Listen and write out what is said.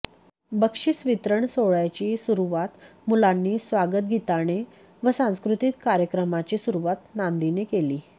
बक्षिसवितरण सोहळय़ाची सुरुवात मुलांनी स्वागतगीताने व सांस्कृतिक कार्यक्रमाची सुरुवात नांदीने केली